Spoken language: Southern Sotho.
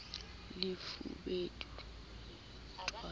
le lefubedu t w d